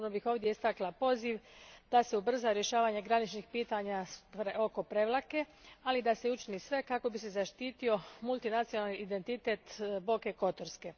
Posebno bih istaknula poziv da se ubrza rješavanje graničnih pitanja oko Prevlake, ali i da se učini sve kako bi se zaštitio multinacionalni identitet Boke Kotorske.